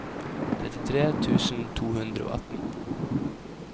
trettitre tusen to hundre og atten